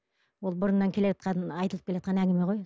ол бұрыннан келеатқан айтылып келеатқан әңгіме ғой